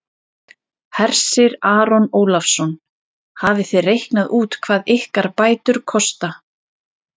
Hersir Aron Ólafsson: Hafið þið reiknað út hvað ykkar bætur kosta?